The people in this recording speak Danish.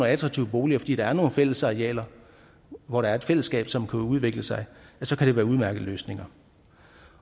attraktive boliger fordi der er nogle fællesarealer hvor der er et fællesskab som kan udvikle sig sig kan det være udmærkede løsninger